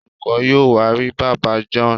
Olùkó yóò wá rí bàbá John.